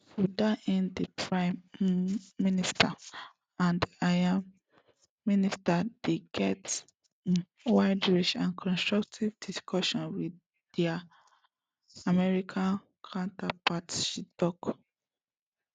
to dat end di prime um minister and im ministers dey get um widerange and constructive discussions wit dia american counterparts she tok